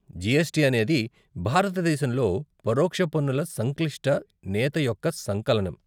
GST అనేది భారతదేశంలో పరోక్ష పన్నుల సంక్లిష్ట నేత యొక్క సంకలనం.